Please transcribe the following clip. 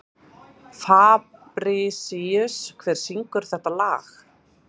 Fabrisíus, hver syngur þetta lag?